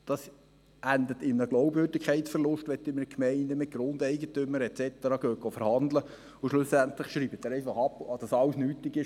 Es endet in einem Glaubwürdigkeitsverlust, wenn man in einer Gemeinde mit Grundeigentümern et cetera verhandelt und schlussendlich einfach abschreibt und sagt, dass alles nichtig ist;